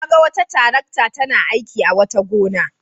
Na ga wata tarakta tana aiki a wata gona.